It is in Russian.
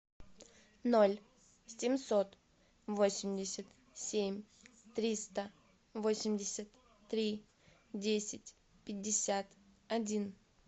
ноль семьсот восемьдесят семь триста восемьдесят три десять пятьдесят один